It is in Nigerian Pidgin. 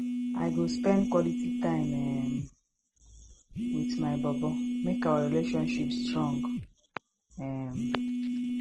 i go spend quality time um wit my bobo make our relationship strong um